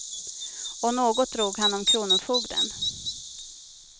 Och något drog han om kronofogden.